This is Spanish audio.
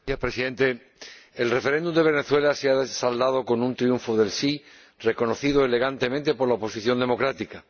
Señor Presidente, el referéndum de Venezuela se ha saldado con un triunfo del sí reconocido elegantemente por la oposición democrática.